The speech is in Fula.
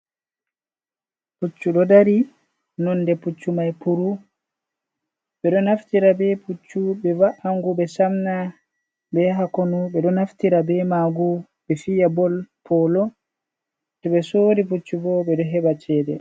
Puccu ɗo dari nonde puccu mai puru, ɓeɗo naftira be puccu ɓe va’angu ɓe samna ɓe yaha konu ɓe ɗo naftira be magu ɓe fiya bol polo, to ɓe sori puccu bo ɓeɗo heɓa cede.